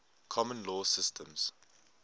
common law systems